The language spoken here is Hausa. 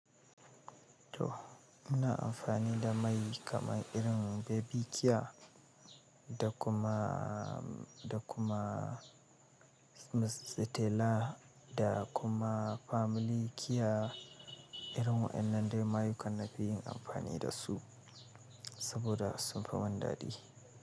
To, ina amfani da mai kamar irin Baby Kia da kuma, da kuma Stella da kuma Family Kia. Irin waɗannan dai mayukan na fi yin amfani da su saboda sun fi wani daɗi.